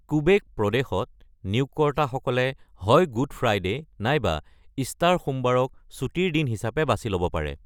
Quebec প্ৰদেশত, "নিয়োগকৰ্তাসকলে হয় গুড ফ্ৰাইডে নাইবা ইষ্টাৰ সোমবাৰক ছুটীৰ দিন হিচাপে বাছি ল'ব পাৰে।"